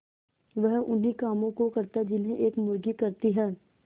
वह उन्ही कामों को करता जिन्हें एक मुर्गी करती है